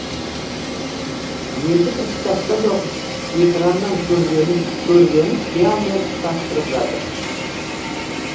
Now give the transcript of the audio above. енді бір кітаптан оқып экраннан көргенін қиялмен ұштастырып жатыр